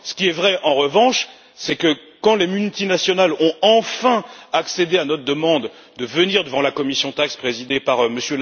Il est vrai, en revanche, que quand les multinationales ont enfin accédé à notre demande de venir devant la commission TAXE présidée par M.